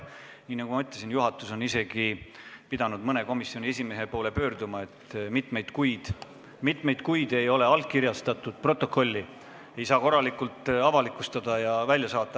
Nii nagu ma ütlesin, on isegi juhatus pidanud mõne komisjoni esimehe poole pöörduma, sest mitmeid kuid ei ole protokolli allkirjastatud, seda ei saa korralikult avalikustada ja välja saata.